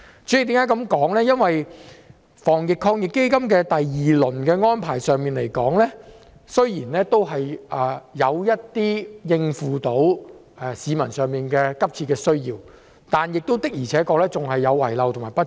在第二輪防疫抗疫基金的安排上，雖然有部分能夠應付市民的急切需要，但的確仍有遺漏和不足。